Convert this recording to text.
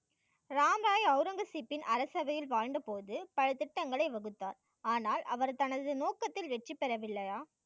ராம் ராய் அவுரங்கசீப்பின் அரசவையில் வாழ்ந்த போது பல திட்டங்களை வகுத்தார். ஆனால் அவர் தனது நோக்கத்தில் வெற்றி பெற வில்லையா?